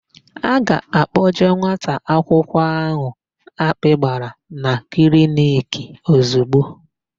A ga-akpọje nwata akwụkwọ áhụ̀ akpị gbara na kliniki ozigbo.